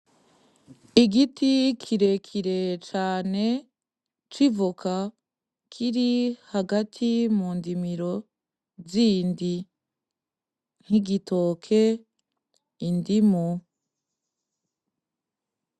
Igiti kire kire cane c'ivoka kiri hagati mu ndimiro zindi nk'igitoke, indumu.